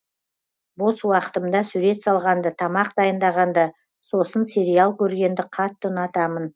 бос уақытымда сурет салғанды тамақ дайындағанды сосын сериал көргенді қатты ұнатамын